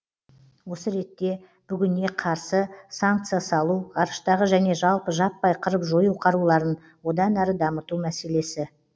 осы ретте бүгіне қарсы санкця салу ғарыштағы және жалпы жаппай қырып жою қаруларын одан әрі дамыту мәселесі